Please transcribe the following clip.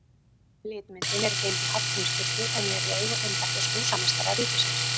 Litmyndin er geymd í Hallgrímskirkju, en er í eigu embættis húsameistara ríkisins.